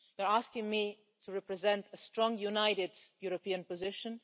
You're asking me to represent a strong, united European position.